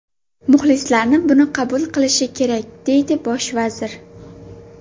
Muxlislarni buni qabul qilishi kerak”, deydi bosh vazir.